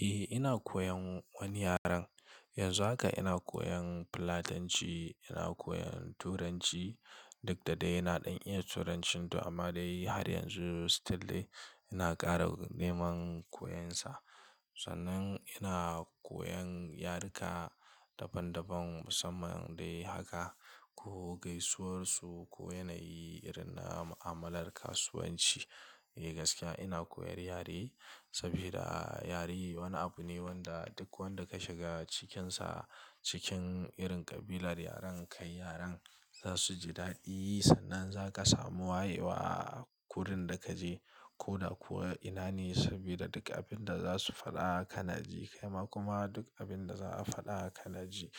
Eh ina koyan wani yaren. Yanzu haka ina koyan Fulatanci, ina koyan Turanci duk da dai yana iya Turancinsa amma dai har yanzu still ina ƙara neman koyonsa. Sannan ina koyan yaruka daban-daban musamman dai haka ko gaisuwar su ko yanayi irin na mu'amalar kasuwanci. Eh gaskiya ina koyar yare saboda yare wani abu ne wanda duk wanda ka shiga cikinsa cikin irin ƙabilar yaren kai yaren za su ji daɗi. Sannan za ka samu wayewa a kurin da ka je ko da kuwa ina ne saboda duk abin da za su faɗa kana ji, kaima kuma duk abin da za a faɗa kana ji.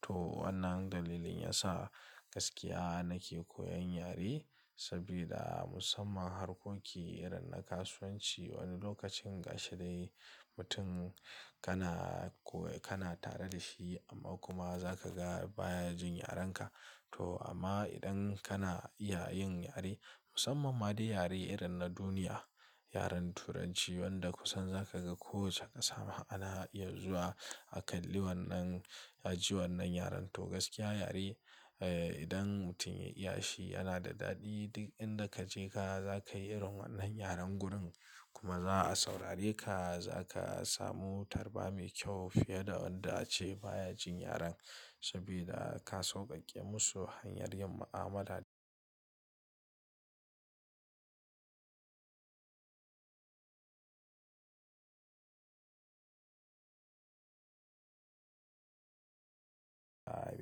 To wannan dalilin yasa gaskiya nake koyan yare saboda musamman harkoki irin na kasuwanci wani lokacin gashi dai mutum kana koyi, kana tare da shi amma kuma za ka ga bayanin yarenka. To amma idan kana iya yin yare musamman ma dai yare irin na duniya, yaren Turanci wanda kusan za ka ga ko wacce ƙasa ana iya zuwa a kalli wannan, a ji wannan yaren. To gaskiya yare eh idan mutum ya iya shi yana da daɗi. Duk inda ka je ka, za ka yi irin wannan yaren gurin kuma za a saurare ka. Za ka samu tarba mai kyau fiye da wanda ace bayanin yaren saboda ka sauƙaƙe musu hanyar yin mu'amala.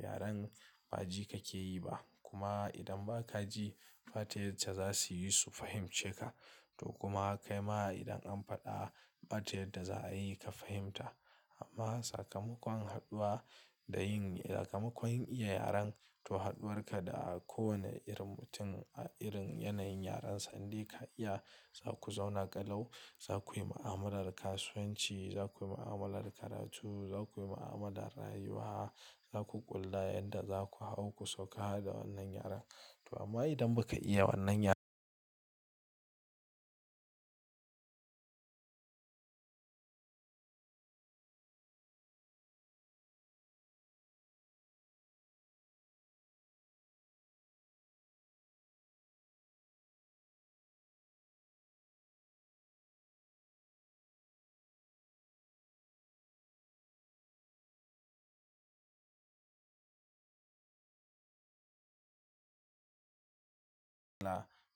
Yaren ba ji ka ke yi ba. Kuma idan ba ka ji fate yace za su yi su fahimce ka. To kuma kaima idan an faɗa bata yadda za a yi ka fahimta. Amma sakamakon haɗuwa da yin sakamakon yin iya yaren to haɗuwar ka da kowane irin mutum a irin yanayin yarensa in dai ka iya za ku zauna ƙalau. Za ku yi mu'amalar kasuwanci, za ku yi mu'amalar karatu, za ku yi mu'amalar rayuwa, za ku ƙulla yadda za ku hau ku sauka da wannan yaren. To amma idan ba ka iya wannan yaren.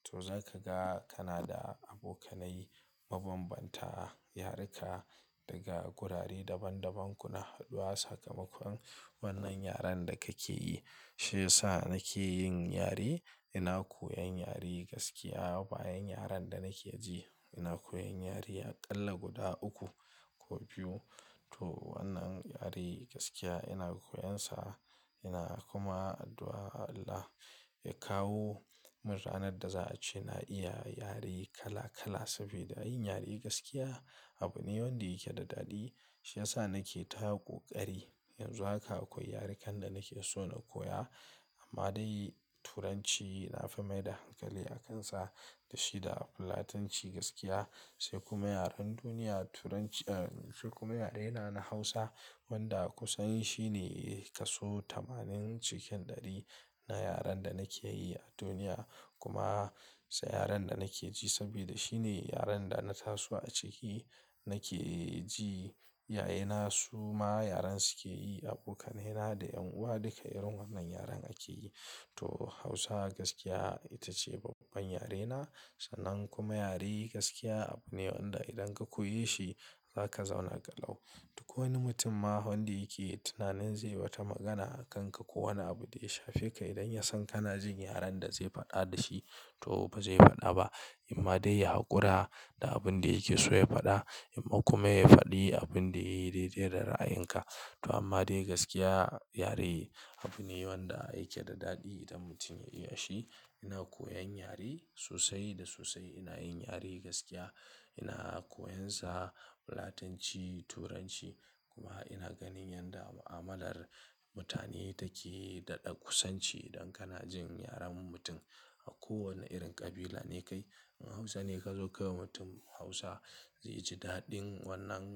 To za ka ga kana da abokanai mabanbanta, yaruka daga gurare daban-daban kuna haɗuwa sakamakon wannan yaren da ka ke yi. Shi ya sa nake yin yare. Ina koyan yare gaskiya bayan yaren da nake ji. Ina koyan yare aƙalla guda uku ko biyu. To wannan yare gaskiya ina koyonsa. Ina kuma addu'a wa Allah ya kawo min ranar da za a ce na iya yare kala kala saboda yin yare gaskiya abu ne wanda yake da daɗi. Shi ya sa nake tako ƙari. Yanzu haka akwai yare kan da nake so na koya amma dai Turanci na fi mai da hankali a kansa. Da shi da Fulatanci gaskiya sai kuma yaren duniya Turanc-- eh sai kuma yarena na Hausa wanda kusan shi ne kasu tamanin cikin ɗari na yaren da nake yi a duniya. Kuma sa yaren da nake ji saboda shi ne yaren da na taso a ciki nake ji. Yayena su ma yaren su ke yi, abokanai na da 'yan uwa duka irin wannan yaren ake yi. To Hausa gaskiya ita ce babban yarena sannan kuma yare gaskiya abu ne wanda idan ka koyi shi za ka zauna ƙalau. Duk wani mutum ma wanda yake tunanin zai bata magana a kanka ko wani abu da ya shafe ka idan ya san kana jin yaren da zai faɗa da shi to ba zai faɗa ba. Imma dai ya ƙura da abun da yake so ya faɗa amma kuma ya faɗi abin da ya yi daidai da ra'ayinka. To amma dai gaskiya yare abu ne wanda yake da daɗi idan mutum ya iya shi. Ina koyan yare sosai da sosai. Ina yin yare gaskiya. Ina koyonsa Fulatanci, Turanci kuma ina ganin yadda mu'amalar mutane take daɗa kusanci idan kana jin yaren mutum a kowane irin ƙabila ne kai. In Hausa ne ka zo ka ga mutum Hausa zai ji daɗin wannan.